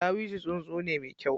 Ɗawisu tsuntsu ne mai kyau.